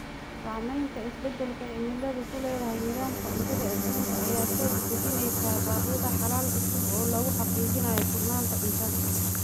Saamaynta isbeddelka cimiladu ku leedahay nidaamka cuntada adduunka ayaa soo dedejinaysa baaqyada xalal cusub oo lagu xaqiijinayo sugnaanta cuntada.